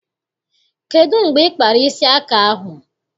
Kedụ mgbe ị kpara isi aka ahụ?